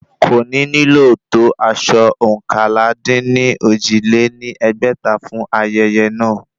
Kò ní nílò tó aṣọ oókànlá-dín-ní-ojì lé ní ẹgbẹ́ta fún ayẹyẹ náà